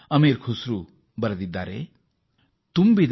ಅಮೀರ್ ಕುಸ್ರೂ ಹೀಗೆ ಬರೆಯುತ್ತಾರೆ